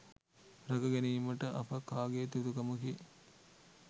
රැක ගැනීමට අප කාගේත් යුතුකමකි